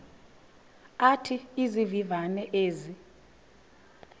athi izivivane ezi